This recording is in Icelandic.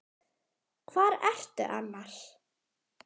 Hvar ertu annars?